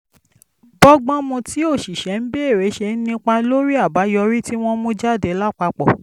bọ́gbọ́n mu tí òṣìṣẹ́ ń béèrè ṣe ń nípa lórí àbáyọrí tí wọ́n ń mú jáde lápapọ̀